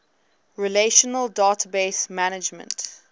relational database management